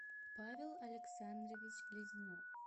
павел александрович лезнев